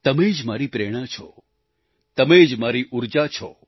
તમે જ મારી પ્રેરણા છો તમે જ મારી ઉર્જા છો